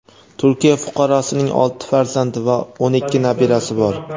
Turkiya fuqarosining olti farzandi va o‘n ikki nabirasi bor.